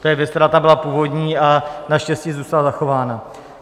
To je věc, která tam byla původní, a naštěstí zůstala zachována.